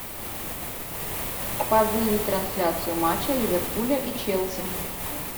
позырить трансляцию матча ливерпуля и челси